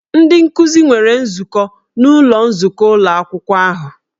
Ndị nkuzi nwere nzukọ n'ụlọ nzukọ ụlọ akwụkwọ ahụ